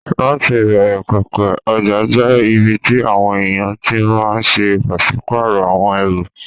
Láti ìbẹ̀rẹ̀ pẹ̀pẹ̀, ọjà jẹ́ ibi tí àwọn èèyàn ti máa n ṣe pàsípàrọ̀ àwọn ẹrù